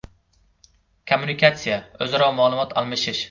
Kommunikatsiya - o‘zaro ma’lumot almashish.